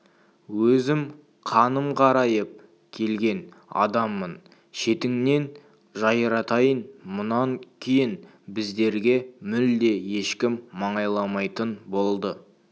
өзім қаным қарайып келген адаммын шетіңнен жайратайын мұнан кейін біздерге мүлде ешкім маңайламайтын болды